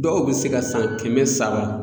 Dɔw bɛ se ka san kɛmɛ saba.